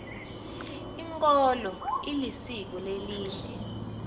inkolo ilisiko lelihle